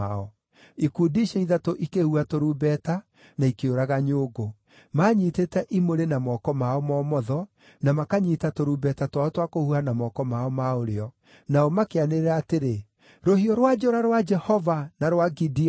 Ikundi icio ithatũ ikĩhuha tũrumbeta, na ikĩũraga nyũngũ. Maanyiitĩte imũrĩ na moko mao ma ũmotho, na makanyiita tũrumbeta twao twa kũhuha na moko mao ma ũrĩo, nao makĩanĩrĩra atĩrĩ, “Rũhiũ rwa njora rwa Jehova na rwa Gideoni!”